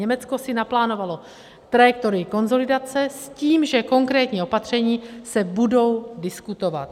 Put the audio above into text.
Německo si naplánovalo trajektorii konsolidace s tím, že konkrétní opatření se budou diskutovat.